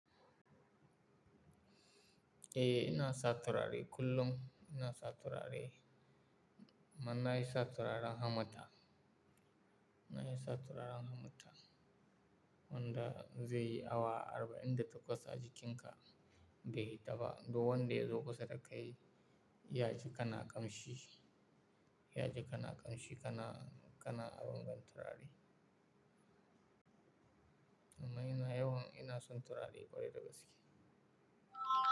Eh, ina sa turare kullum. Ina sa turare. Manayi sa turaren hammata. Nahi sa turaren hammata. Wanda zai yi awa arba'in da takwas a jikinka, bai yi ta ba. Duk wanda ya zo kusa da kai, ya ji kana ƙamshi. Ya ji kana ƙamshi, kana, kana abin gan turare. Amma ina yawan ina son turare kwarai dagaske.